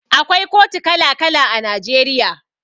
Akwai kotu kala kala a Najeriya